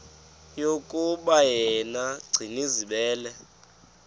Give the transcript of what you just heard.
yokuba yena gcinizibele